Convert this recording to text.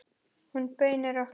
Hún bauð okkur.